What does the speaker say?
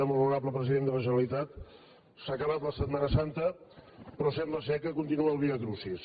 molt honorable president de la generalitat s’ha acabat la setmana santa però sembla que continua el viacrucis